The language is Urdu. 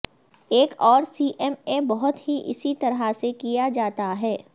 ایک اور سی ایم اے بہت ہی اسی طرح سے کیا جاتا ہے